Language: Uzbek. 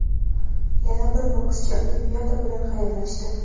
Yana bir bokschi Olimpiada bilan xayrlashdi.